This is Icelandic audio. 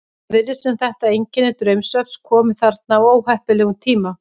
Það virðist sem þetta einkenni draumsvefns komi þarna á óheppilegum tíma.